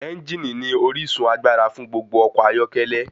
Ẹ́ngìnì ní orísun agbára fún gbogbo ọkọ̀ ayọ́kẹ́lẹ́.